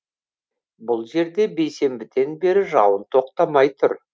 бұл жерде бейсенбіден бері жауын тоқтамай тұр